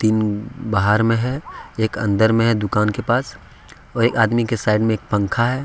M बाहर में है एक अंदर में है दुकान के पास और एक आदमी के साइड में एक पंखा है ।